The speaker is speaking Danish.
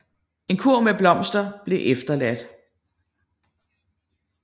En kurv med blomster blev efterladt